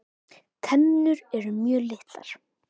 Tennur eru mjög litlar.